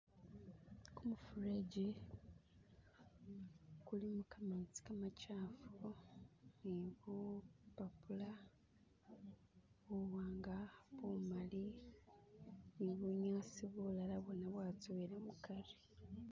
Gumufureji gulimo gamezi gamamakyafu nibupapula buwanga, bumali nibunyasi bulala bona bwazowela mugati